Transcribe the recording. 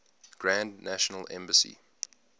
grand national assembly